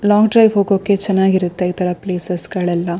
Long drive ಹೋಗೋಕೆ ಚೆನ್ನಾಗಿರುತ್ತೆ ಈ ತರ ಪ್ಲೇಸಸ್ ಗಳೆಲ್ಲ.